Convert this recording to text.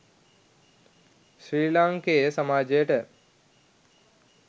ශ්‍රී ලාංකේය සමාජයට